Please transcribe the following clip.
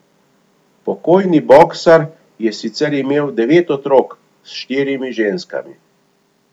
Pokojni boksar je sicer imel devet otrok s štirimi ženskami.